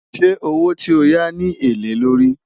ṣé owó tí ọ yá ní èlé ló rí?